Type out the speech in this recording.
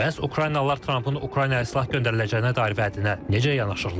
Bəs Ukraynalılar Trampın Ukraynaya silah göndəriləcəyinə dair vədinə necə yanaşırlar?